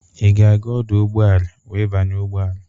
Ị ga-aga ọdụ ụgbọala wee banye ụgbọala?